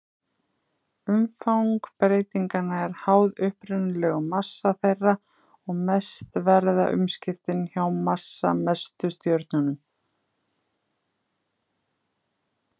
Umfang breytinganna er háð upprunalegum massa þeirra og mest verða umskiptin hjá massamestu stjörnunum.